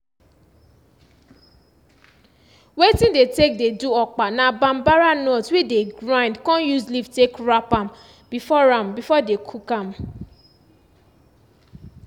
wetin dey take dey do okpa na bambara nut wey dey grind con use leaf take wrap am before am before dey cook am